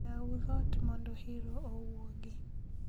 Yau dhot mondo hiro owuogi